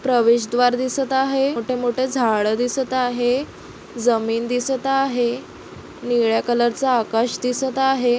प्रवेश द्वार दिसत आहे मोठे मोठे झाड दिसत आहे जमीन दिसत आहे निळ्या कलर चा आकाश दिसत आहे.